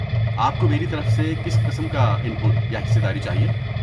آپ کو میری طرف سے کس قسم کا ان پٹ یا حصہ داری چاہیے؟